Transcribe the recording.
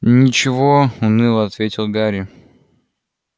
ничего уныло ответил гарри